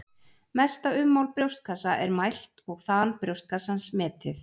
Mesta ummál brjóstkassa er mælt og þan brjóstkassans metið.